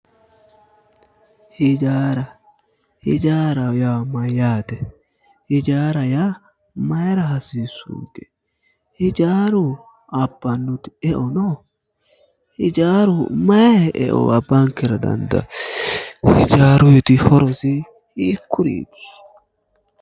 Hijaara hijaaraho yaa mayyaate? Hijaaraho yaa mayiira hasiissunke? Hijaaru abbannoti eo no? Hijaaru mayi horo abbankera dandawo? Hijaaruyiiti horosi hiikkuriiti?